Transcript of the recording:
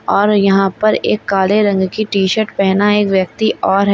और यहां पर एक काले रंग की टी शर्ट पहना एक व्यक्ति और है।